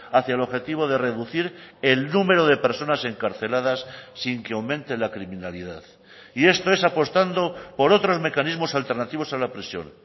hacia el objetivo de reducir el número de personas encarceladas sin que aumente la criminalidad y esto es apostando por otros mecanismos alternativos a la prisión